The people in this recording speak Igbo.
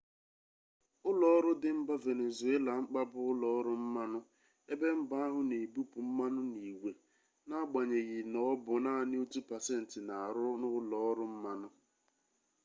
ụlọọrụ dị mba venezuela mkpa bụ ụlọọrụ mmanụ ebe mba ahụ na ebupụ mmanụ n'igwe n'agbanyeghị na ọ bụ naanị otu pasentị na-arụ n'ụlọọrụ mmanụ